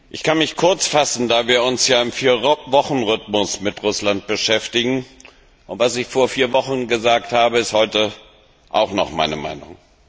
Ich kann mich kurz fassen, da wir uns ja im Vierwochenrhythmus mit Russland beschäftigen, und was ich vor vier Wochen gesagt habe, ist auch heute noch meine Meinung.